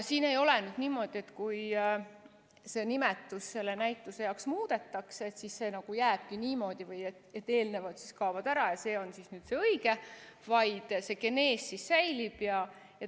Siin ei ole niimoodi, et kui see nimetus selle näituse jaoks muudetakse, siis see jääbki nii, eelnevad kaovad ära ja see on nüüd see õige, vaid see genees säilib.